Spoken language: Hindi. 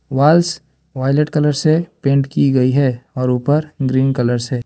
वाल्स वायलेट कलर से पेंट की गई है और ऊपर ग्रीन कलर से।